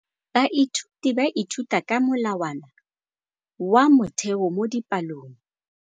Baithuti ba ithuta ka molawana wa motheo mo dipalong.